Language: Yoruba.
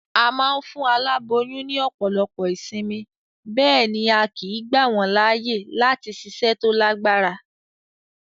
A ma n fún aláboyún ní òpòlopo ìsinmi, béèni a kìí gbà wón láàyè láti siṣẹ́ to lágbára